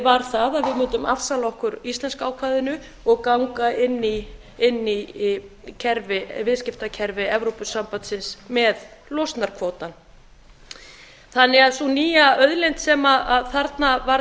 var það að við mundum afsala okkur íslenska ákvæðinu og ganga inn í viðskiptakerfi evrópusambandsins við losunarkvótann sú nýja auðlind sem þarna varð